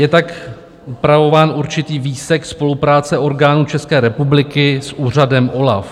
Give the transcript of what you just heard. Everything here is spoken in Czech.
Je tak upravován určitý výsek spolupráce orgánů České republiky s úřadem OLAF.